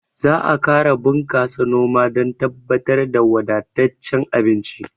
Za a ƙara bunƙasa noma dan tabbatar da wadattacen abinci